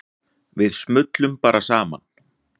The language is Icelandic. Við smullum bara saman.